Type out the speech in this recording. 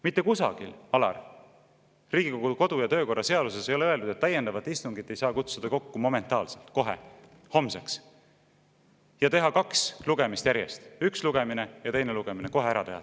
Mitte kusagil, Alar, Riigikogu kodu- ja töökorra seaduses ei ole öeldud, et täiendavat istungit ei saa kutsuda kokku momentaalselt, kohe, homseks, ja teha kaks lugemist järjest – üks lugemine ja teine lugemine kohe ära teha.